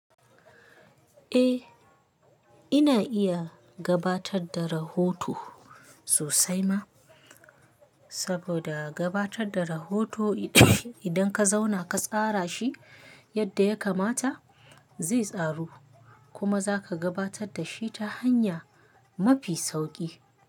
Eh, ina iya gabatar da rahoto sosai ma, saboda gabatar da rahoto idan ka zauna ka tsara shi yadda ya kamata, zai tsaru kuma za ka gabatar da shi ta hanya mafi sauki.